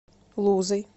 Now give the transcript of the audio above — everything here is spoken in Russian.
лузой